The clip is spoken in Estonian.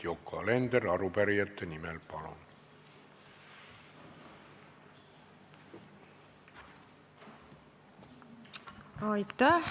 Yoko Alender arupärijate nimel, palun!